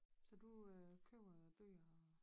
Så du øh køber bøger